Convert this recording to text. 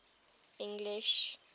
english